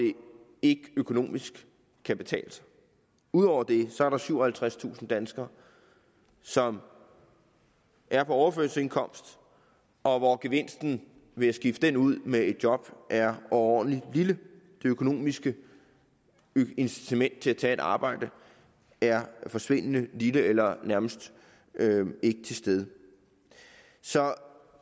ikke økonomisk kan betale sig ud over det er der syvoghalvtredstusind danskere som er på overførselsindkomst og hvor gevinsten ved at skifte den ud med et job er overordentlig lille det økonomiske incitament til at tage et arbejde er forsvindende lille eller nærmest ikke til stede